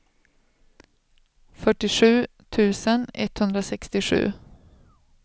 fyrtiosju tusen etthundrasextiosju